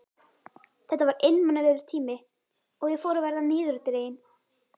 Þetta var einmanalegur tími og ég fór að verða niðurdregin.